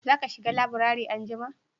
za ka shiga laburare anjima?